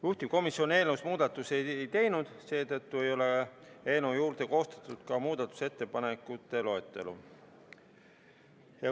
Juhtivkomisjon eelnõus muudatusi ei teinud, seetõttu ei ole eelnõu juurde koostatud ka muudatusettepanekute loetelu.